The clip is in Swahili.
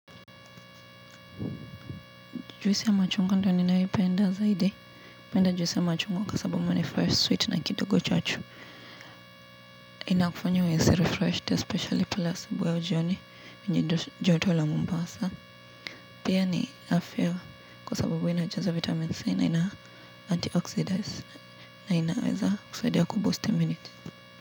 Juisi ya machungwa ndiyo ninayoipenda zaidi. Napenda juisi ya machungwa kwa sababu ni fresh, sweet na kidogo chachu. Inakufanya uhisi refreshed, especially pale asubui au jioni. Joto la Mombasa. Pia ni afya kwa sababu wa inajaza vitamini C na ina antioxidase. Na inaweza kusaidia ya kuongezea kinga.